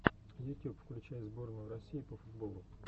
ютюб включай сборную россии по футболу